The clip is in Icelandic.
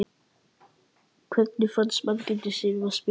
Hvernig fannst Margréti Sif að spila leikinn?